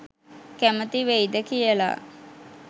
කැමති වෙයිද කියලා.